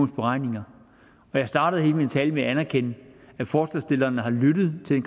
beregninger jeg startede hele min tale med at anerkende at forslagsstillerne har lyttet til